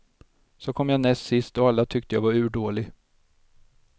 Så kom jag näst sist och alla tyckte jag var urdålig.